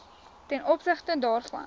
ten opsigte daarvan